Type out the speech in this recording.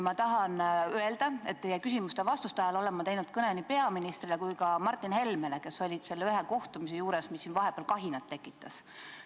Ma tahan öelda, et küsimuste ja teie vastuste ajal olen ma teinud kõne nii peaministrile kui ka Martin Helmele, kes olid selle kohtumise juures, mis siin vahepeal kahinat tekitas.